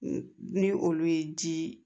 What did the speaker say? Ni olu ye ji